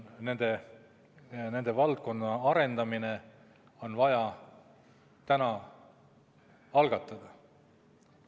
Nende valdkondade arendamine on vaja täna algatada.